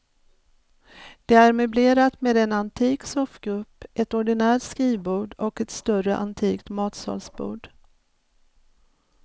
Det är möblerat med en antik soffgrupp, ett ordinärt skrivbord och ett större antikt matsalsbord.